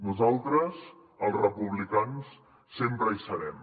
nosaltres els republicans sempre hi serem